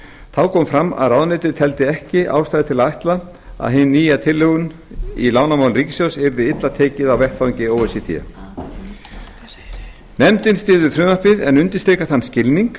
þá kom fram að ráðuneytið teldi ekki ástæðu til að ætla að hinni nýju tilhögun á lánamálum ríkissjóðs yrði illa tekið á vettvangi o e c d nefndin styður frumvarpið en undirstrikar þann skilning